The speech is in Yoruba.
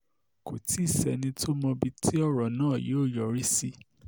kò tí ì sẹ́ni tó mọbi tí ọ̀rọ̀ náà yóò yọrí sí